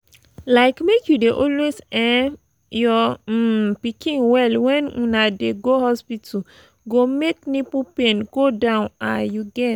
like make you dey always um your um pikin well when una dey go hospital go make nipple pain go down ah you get